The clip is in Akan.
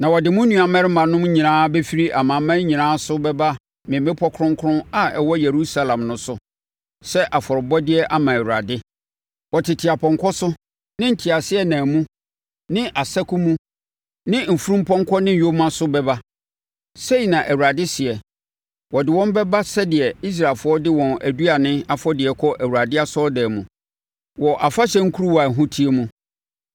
Na wɔde mo nuammarimanom nyinaa bɛfiri amanaman nyinaa so bɛba me bepɔ kronkron a ɛwɔ Yerusalem no so sɛ afɔrebɔdeɛ ama Awurade. Wɔtete apɔnkɔ so ne nteaseɛnam mu ne asako mu ne mfunumpɔnkɔ ne nyoma so bɛba,” sei na Awurade seɛ. “Wɔde wɔn bɛba sɛdeɛ Israelfoɔ de wɔn aduane afɔdeɛ kɔ Awurade asɔredan mu, wɔ afahyɛ nkuruwa a ɛho teɛ mu.